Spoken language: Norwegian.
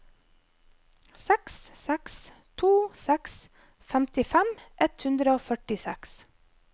seks seks to seks femtifem ett hundre og førtiseks